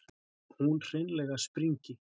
Hún hreinlega springi.